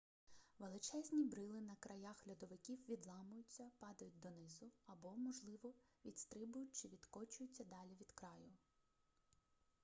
величезні брили на краях льодовиків відламуються падають донизу або можливо відстрибують чи відкочуються далі від краю